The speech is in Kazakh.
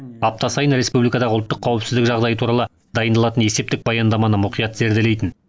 апта сайын республикадағы ұлттық қауіпсіздік жағдайы туралы дайындалатын есептік баяндаманы мұқият зерделейтін